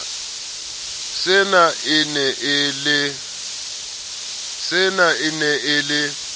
sena e ne e le